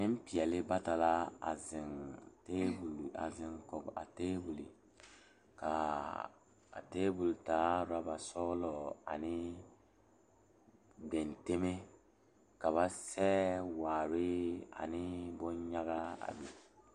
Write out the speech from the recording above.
Nenpelaa la zeŋ die poɔ a pouri ba ŋmene a vaare wagyere kyɛ uri vūūnee a die poɔ kaa zie a kyaane